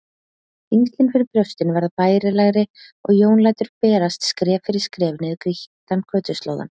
Þyngslin fyrir brjóstinu verða bærilegri og Jón lætur berast skref fyrir skref niður grýttan götuslóðann.